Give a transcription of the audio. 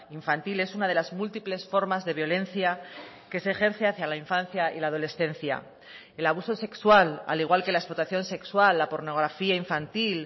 infantil es una de las múltiples formas de violencia que se ejerce hacia la infancia y la adolescencia el abuso sexual al igual que la explotación sexual la pornografía infantil